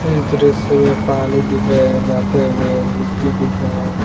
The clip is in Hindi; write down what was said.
इस दृश्य में पानी दिख रहे हैं जाते हुए मिट्टी दिख रहे हैं।